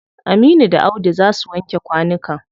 Aminu da Audu za su wanke kwanukan.